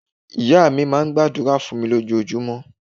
Ìya mi máa n gba àdúrà fún mi ní ojojúmó